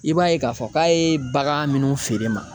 I b'a ye k'a fɔ k'a ye bagan minnu feere ma